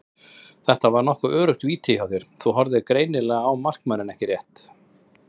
Þetta var nokkuð öruggt víti hjá þér, þú horfðir greinilega á markmanninn ekki rétt?